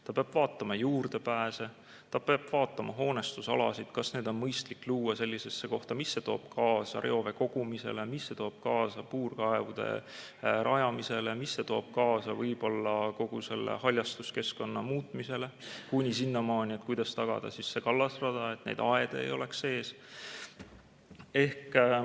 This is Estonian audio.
Ta peab vaatama juurdepääse, ta peab vaatama hoonestusalasid, kas need on mõistlik luua sellisesse kohta, mis see toob kaasa reovee kogumisele, mis see toob kaasa puurkaevude rajamisele, mis see toob kaasa võib-olla kogu selle haljastuskeskkonna muutmisele kuni sinnamaani, kuidas tagada kallasrada, et aedu ei oleks ees.